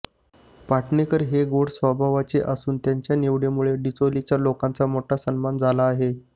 पाटणेकर हे गोड स्वभावाचे असून त्यांच्या निवडीमुळे डिचोलीच्या लोकांचा मोठा सन्मान झाला आहे